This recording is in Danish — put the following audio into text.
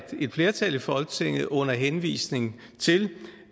et flertal i folketinget under henvisning til